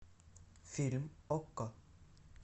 фильм окко